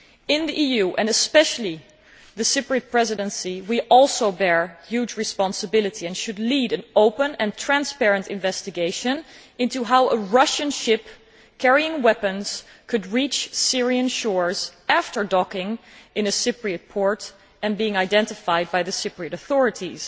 In the EU, and especially during the Cyprus Presidency, we also bear huge responsibility, and should lead an open and transparent investigation into how a Russian ship carrying weapons could reach Syrian shores after docking in a Cyprus port and being identified by the Cyprus authorities.